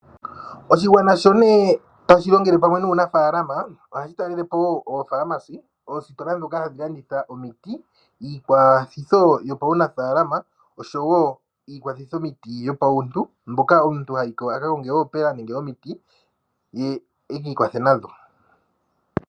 Oshigwana sho ne tashi longele pamwe nuunafaalama ohashi talelapo woo oopharmacy oostola ndhoka hadhi landitha omiti , iikwathitho yopaunafaalama oshowo iikwathithomiti yopauntu mboka omuntu hayiko aka konge oopela nenge omiti ye ekiikwathe nadho.